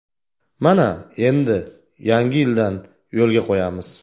Mana endi yangi yildan yo‘lga qo‘yamiz.